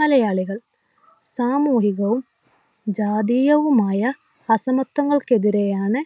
മലയാളികൾ സാമൂഹികവും ജാതീയവുമായ അസമത്വങ്ങൾക്കെതിരെയാണ്